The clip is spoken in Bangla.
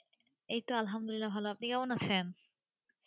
এইতো আলহামদুলিল্লাহ ভালোআপনি কেমন আছেন?